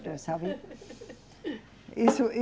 Sabe? Isso e